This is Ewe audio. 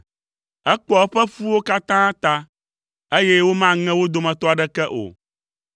ekpɔa eƒe ƒuwo katã ta, eye womaŋe wo dometɔ aɖeke o.